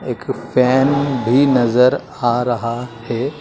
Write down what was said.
एक फैन भी नजर आ रहा है।